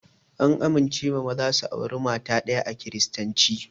An amincewa maza su aure mata ɗaya a kiristanci